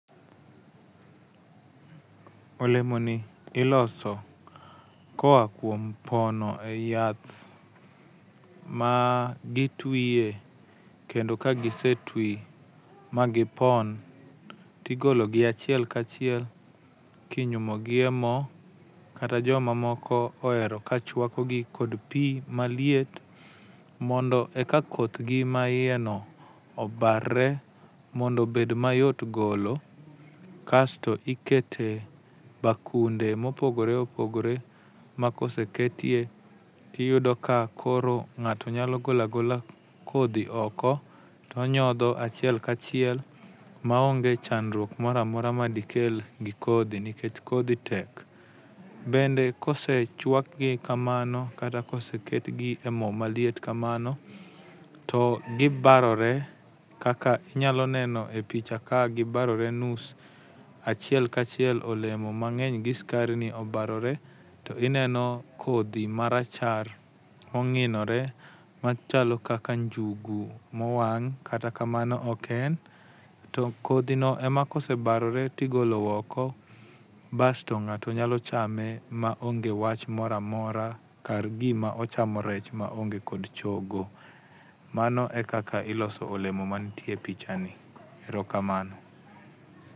Olemoni iloso koa kuom pono eyath ma gitwiye. Kendo ka gisetwi magipon to igologi achiel kachiel kinyumogi e mo kata joma moko ohero ka chuakogi kod pi maliet mondo eka kothgi maiyeno obarre mondo obed mayot golo kasto iketo e bakunde mopogore opogore makoseketie to iyudo kakoro ng'ato nyalo golo agola kodhi oko to onyodho achiel kachiel maonge chandruok moro amora madikel negi kodhi nikech kodhi tek. Bende kosechuakgi kamano kata koseketgi emo maliet kamano to gibarore kaka inyalo neno e picha ka gibarore nus achiel kachiel olemo mang'eny gi sukarini obarore to gineno kodhi marachar mong'inore machalo kaka njugu mwang' kata kamano ok en to kodhino ema kosebarore to igolo oko basto ng'ato nyalo chame maonge wach moro amora kagima ochamo rech maonge kod chogo. Mano e kaka iloso olemo manie picha[cs ni. Erokamano.